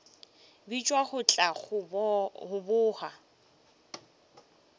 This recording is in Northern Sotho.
bitšwa go tla go boga